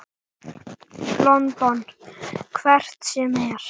London. hvert sem er.